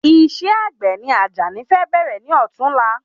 Isẹ́ àgbè ni àjàní fẹ bẹ̀rẹ̀ ní ọ̀tún la